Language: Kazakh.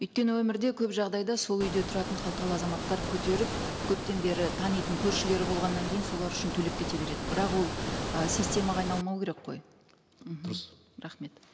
өйткені өмірде көп жағдайда сол үйде тұратын қалталы азаматтар көтеріп көптен бері танитын көршілері болғаннан кейін солар үшін төлеп кете береді бірақ ол ы системаға айналмау керек қой мхм дұрыс рахмет